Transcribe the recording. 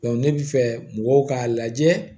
ne bɛ fɛ mɔgɔw k'a lajɛ